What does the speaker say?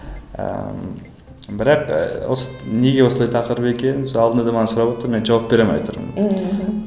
ыыы бірақ ы осы неге осылай тақырып екенін сол алдында да маған сұраватыр мен жауап бере алмай отырмын мхм